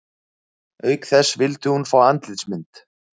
Auk þess vildi hún fá andlitsmynd